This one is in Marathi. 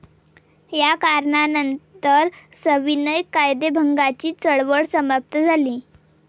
या करणानंतर सविनय कायदेभंगाची चळवळ समाप्त झाली.